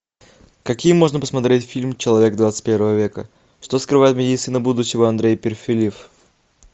какие можно посмотреть фильм человек двадцать первого века что скрывает медицина будущего андрей перфильев